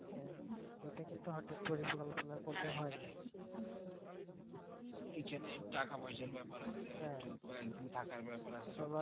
এই খানে টাকা পয়সার বেপার আছে কয়েকদিন থাকার বেপার আছে